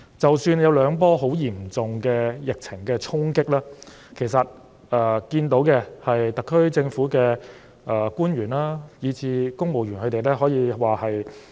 即使有兩波很嚴重的疫情衝擊，其實也看到特區政府的官員，以至公務員都沉着應戰。